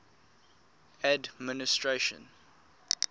administration